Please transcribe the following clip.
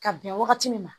Ka bɛn wagati min ma